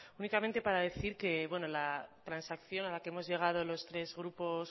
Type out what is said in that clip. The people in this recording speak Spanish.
únicamente para decir que la transacción a la que hemos llegado los tres grupos